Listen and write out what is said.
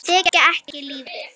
Þekkja ekki lífið.